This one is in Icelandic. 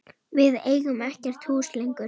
Við eigum ekkert hús lengur.